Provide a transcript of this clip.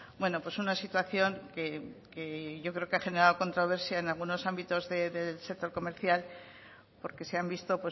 bueno pues una situación que yo creo que ha generado controversia en algunos ámbitos del sector comercial porque se han visto